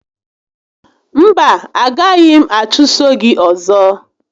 Mba, a gaghị m achụso gị ọzọ